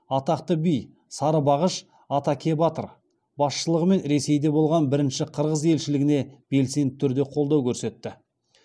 атақты би сарыбағыш атакебатыр басшылығымен ресейде болған бірінші қырғыз елшілігіне белсенді түрде қолдау көрсетті